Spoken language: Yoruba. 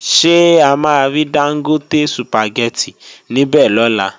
Ṣé a máa rí Dángótè Sùpàgẹ́tì níbè lọ́la?